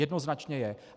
Jednoznačně je.